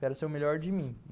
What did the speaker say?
Quero ser o melhor de mim.